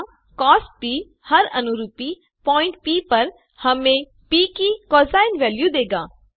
यहाँ कॉस हर अनुरूपी पॉइंट प पर हमें प की कोसाइन वेल्यू देगा